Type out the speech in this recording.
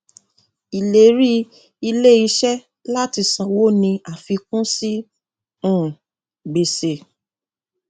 ìlérí iléiṣẹ láti sanwó ni àfikún sí um gbèsè